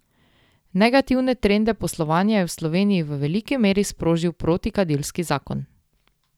Negativne trende poslovanja je v Sloveniji v veliki meri sprožil protikadilski zakon.